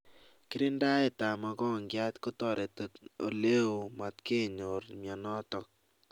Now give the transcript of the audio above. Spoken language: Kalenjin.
kirindaet ab mogongiat kotareti oleoo matkenyor mionotok